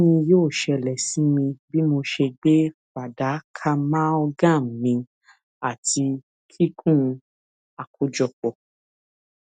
kini yoo ṣẹlẹ si mi bi mo ṣe gbe fadakaamalgam mì ati kikun akojọpọ